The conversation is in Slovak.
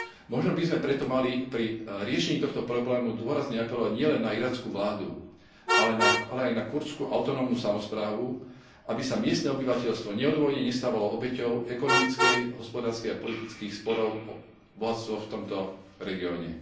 Možno by sme preto mali pri riešení tohto problému dôrazne apelovať nielen na irackú vládu, ale aj na kurdskú autonómnu samosprávu, aby sa miestne obyvateľstvo neodôvodnene nestávalo obeťou ekonomických, hospodárskych a politických sporov o bohatstvo v tomto regióne.